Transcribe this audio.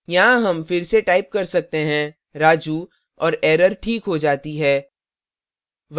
यहाँ हम फिर से टाइप कर सकते हैं raju और error ठीक हो जाती है